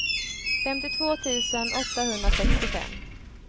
femtiotvå tusen åttahundrasextiofem